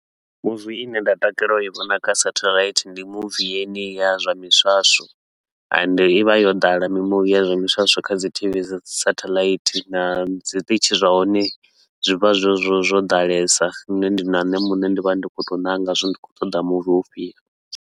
Muvi i ne nda takalela u i vhona kha satellite, ndi muvi yeneyi ya zwa miswaswo ende i vha yo ḓala mimuvi ya zwa miswaswo kha dzi T_V dza dzi satellite na zwiṱitshi zwa hone zwi vha zwo zwo ḓalesa, lune na ndi na nṋe muṋe ndi vha ndi khou tou nanga zwa uri ndi khou ṱoḓa muvi ufhio.